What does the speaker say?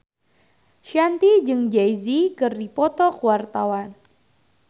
Shanti jeung Jay Z keur dipoto ku wartawan